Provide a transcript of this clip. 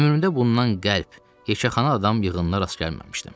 Ömrümdə bundan qəlb heçəxana adam yığınla rast gəlməmişdim.